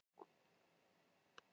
Sú vinna er nú á lokastigi